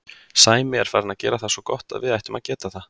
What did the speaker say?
Sæmi er farinn að gera það svo gott að við ættum að geta það.